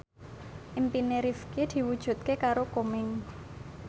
impine Rifqi diwujudke karo Komeng